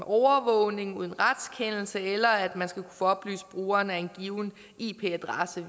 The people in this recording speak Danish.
overvågning uden retskendelse eller at man skal kunne få oplyst brugeren af en given ip adresse